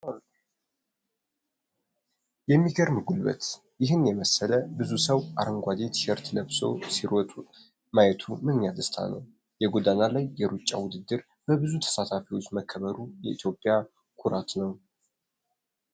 የሚገርም ጉልበት! ይህን የመሰለ ብዙ ሰው አረንጓዴ ቲሸርት ለብሶ ሲሮጥ ማየቱ ምንኛ ደስታ ነው! የጎዳና ላይ የሩጫ ውድድር በብዙ ተሳታፊዎች መከበሩ ለኢትዮጵያ ኩራት ነው!